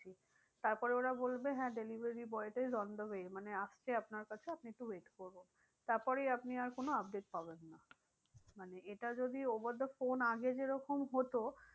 তারপরে ওরা বলবে হ্যাঁ delivery boy is on the way মানে আসছে আপনার কাছে আপনি একটু wait করো। তারপরে আপনি আর কোনো update পাবেন না। মানে এটা যদি over the phone আগে যে রকম হতো